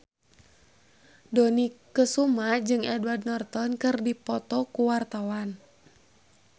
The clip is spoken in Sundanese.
Dony Kesuma jeung Edward Norton keur dipoto ku wartawan